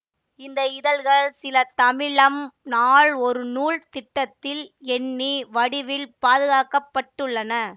இந்த இதழ்கள் சில தமிழம் நாள் ஒரு நூல் திட்டத்தில் எண்ணி வடிவில் பாதுகாக்க பட்டுள்ளன